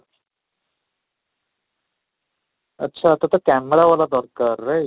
ଆଚ୍ଛା ତୋତେ camera ଭଲ ଦରକାର right?